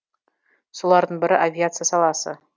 солардың бірі авиация саласы